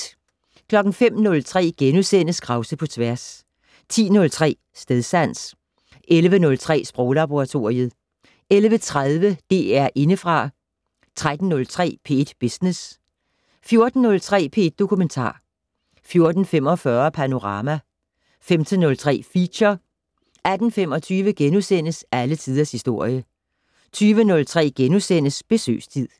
05:03: Krause på tværs * 10:03: Stedsans 11:03: Sproglaboratoriet 11:30: DR Indefra 13:03: P1 Business 14:03: P1 Dokumentar 14:45: Panorama 15:03: Feature 18:25: Alle Tiders Historie * 20:03: Besøgstid *